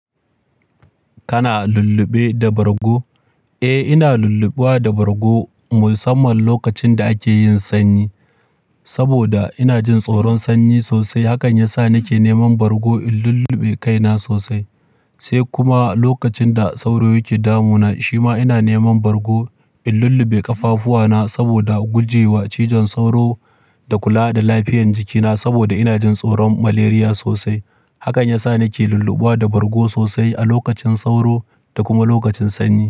Kana lulluɓe da bargo? Eh, ina lulluɓe da bargo musamman lokacin da ake yin sanyi. Saboda ina jin tsoron sanyi sosai, hakan yasa nake neman bargo in lulluɓe kaina sosai. Sai kuma lokacin da sauro yake damuna, shima ina neman bargo in lulluɓe ƙafafuwana saboda gujewa cizon sauro da kula da lafiyan jikina. Saboda ina jin tsoron malaria sosai. Hakan yasa nake lulluɓe da bargo sosai a lokacin sauro da kuma lokacin sanyi.